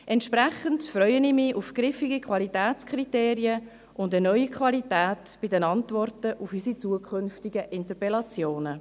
Entsprechend freue ich mich auf griffige Qualitätskriterien und eine neue Qualität bei den Antworten auf unsere zukünftigen Interpellationen.